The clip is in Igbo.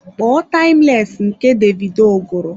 Kpọọ timeless nke Davido gụrụ!